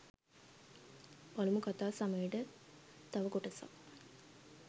පළමු කතා සමයට තව කොටසක්